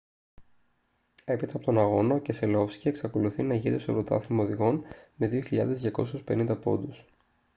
έπειτα από τον αγώνα ο κεσελόφσκι εξακολουθεί να ηγείται στο πρωτάθλημα οδηγών με 2.250 πόντους